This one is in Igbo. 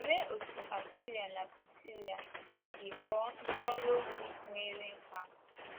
Olee otú Akwịla na Prisila si ghọọ ndị ọrụ ozi nwere nkà?